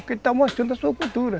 Porque ele está mostrando a sua cultura.